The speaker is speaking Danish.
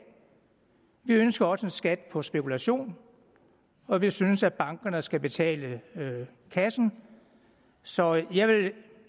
vi ønsker også en skat på spekulation og vi synes at bankerne skal betale kassen så jeg vil